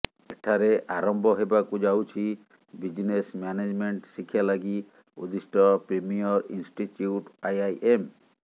ଏଠାରେ ଆରମ୍ଭ ହେବାକୁ ଯାଉଛି ବିଜନେସ୍ ମ୍ୟାନେଜମେଣ୍ଟ ଶିକ୍ଷା ଲାଗି ଉଦ୍ଦିଷ୍ଟ ପ୍ରିମିୟର ଇନଷ୍ଟିଚ୍ୟୁଟ୍ ଆଇଆଇଏମ୍